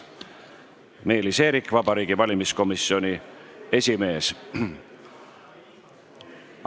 Meelis Eerik, Vabariigi Valimiskomisjoni esimees.